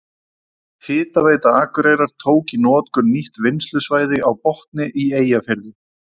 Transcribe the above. Hitaveita Akureyrar tók í notkun nýtt vinnslusvæði á Botni í Eyjafirði.